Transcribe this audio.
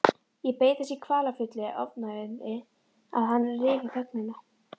Ég beið þess í kvalafullu ofvæni að hann ryfi þögnina.